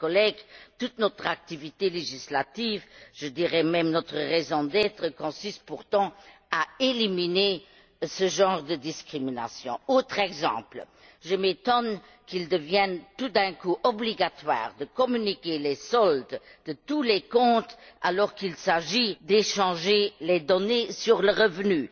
Chers collègues, toute notre activité législative je dirais même notre raison d'être consiste pourtant à éliminer ce genre de discrimination. Autre exemple, je m'étonne qu'il devienne tout d'un coup obligatoire de communiquer les soldes de tous les comptes, alors qu'il s'agit d'échanger les données sur le revenu.